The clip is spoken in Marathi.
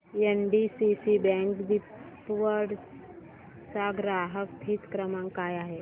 एनडीसीसी बँक दिघवड चा ग्राहक हित क्रमांक काय आहे